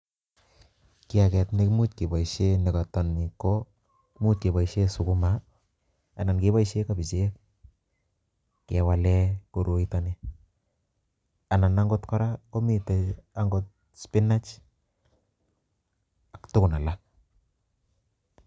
Kiakee nekimuche keboishien nekotoo ni koimuch keboishien sukuma anan ko kebichek, kewalen koroito nii. Anan okot kora komiten angot spinach ak tugun alak